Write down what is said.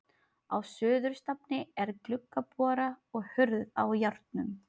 Á suðurstafni er gluggabora og hurð á járnum.